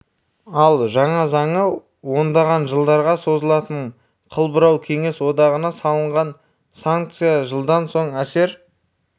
ал жаңа заңы ондаған жылдарға созылатын қыл бұрау кеңес одағына салынған санкция жылдан соң әзер